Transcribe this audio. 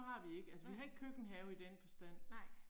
Nej. Nej